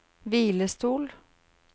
hvilestol